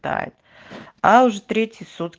а уже третий суд